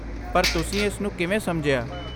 ਪਰ ਤੁਸੀਂ ਇਸ ਨੂੰ ਕਿਵੇਂ ਸਮਝਿਆ?